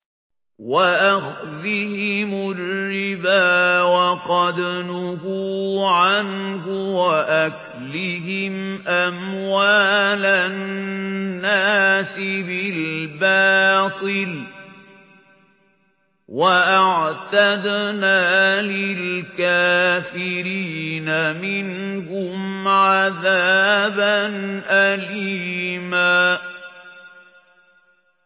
وَأَخْذِهِمُ الرِّبَا وَقَدْ نُهُوا عَنْهُ وَأَكْلِهِمْ أَمْوَالَ النَّاسِ بِالْبَاطِلِ ۚ وَأَعْتَدْنَا لِلْكَافِرِينَ مِنْهُمْ عَذَابًا أَلِيمًا